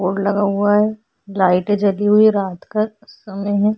Board और लगा हुआ है लाइटे जली हुई रात का समय है।